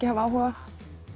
hafa áhuga